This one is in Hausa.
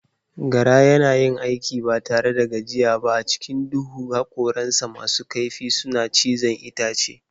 Gara yana yin aiki ba tare da gajiyawa ba a cikin duhu, hakoransa masu kaifi suna cizon itace.